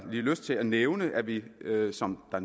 lyst til at nævne at vi som der